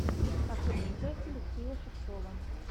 последняя часть алексея шевцова